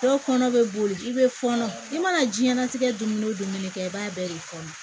Dɔw kɔnɔ bɛ boli i bɛ fɔɔnɔ i mana jiyɛnnatigɛ dumuni o dumuni kɛ i b'a bɛɛ de kɔnɔ